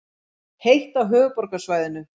Heitt á höfuðborgarsvæðinu